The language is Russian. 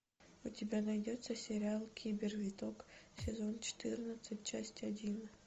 у тебя найдется сериал кибервиток сезон четырнадцать часть один